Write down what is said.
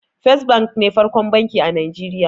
First bank ne farkon banki a Nijeriya